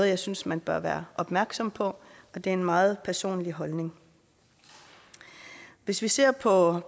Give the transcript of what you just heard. jeg synes man bør være opmærksom på og det er en meget personlig holdning hvis vi ser på